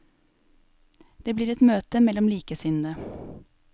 Det blir et møte mellom likesinnede.